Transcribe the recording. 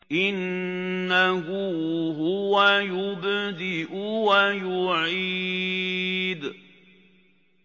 إِنَّهُ هُوَ يُبْدِئُ وَيُعِيدُ